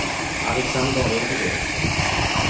Aleksander Ødegård